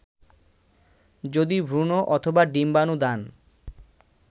যদি ভ্রুণ অথবা ডিম্বানু দান